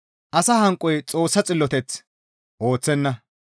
Asa hanqoy Xoossa xilloteth ooththenna.